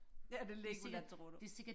er det Legoland tror du